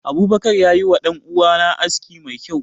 Abubakar ya yi wa danuwa na aski mai kyau.